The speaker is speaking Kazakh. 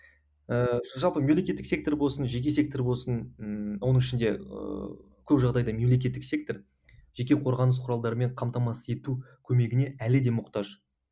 ыыы жалпы мемлекеттік сектор болсын жеке сектор болсын ыыы оның ішінде ыыы көп жағдайда мемлекеттік сектор жеке қорғаныс құралдарымен қамтамасыз ету көмегіне әлі де мұқтаж